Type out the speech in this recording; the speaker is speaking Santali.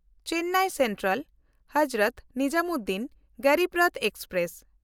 ᱪᱮᱱᱱᱟᱭ ᱥᱮᱱᱴᱨᱟᱞ–ᱦᱚᱡᱨᱚᱛ ᱱᱤᱡᱟᱢᱩᱫᱽᱫᱤᱱ ᱜᱚᱨᱤᱵ ᱨᱚᱛᱷ ᱮᱠᱥᱯᱨᱮᱥ